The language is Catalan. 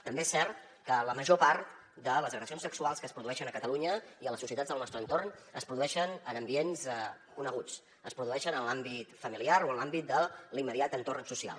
també és cert que la major part de les agressions sexuals que es produeixen a catalunya i a les societats del nostre entorn es produeixen en ambients coneguts es produeixen en l’àmbit familiar o en l’àmbit de l’immediat entorn social